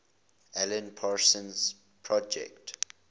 alan parsons project